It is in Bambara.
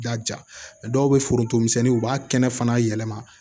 I y'a ja dɔw bɛ forontomisɛnninw b'a kɛnɛ fana yɛlɛma